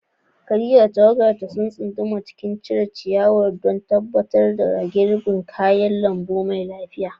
Khadija da tawagarta sun tsunduma cikin cire ciyawa don tabbatar da girbin kayan lambu mai lafiya.